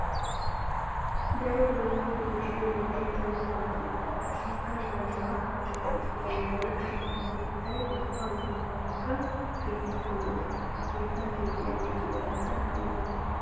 Daro doozatti doodiddo wolaytta wogaa ubba qassikka zanaaqa qonccissiya wolaytta maata keettay ubba yuushuwarakka keehippe lo'ees. Ha keetta keexiyagettu eraykka malaales.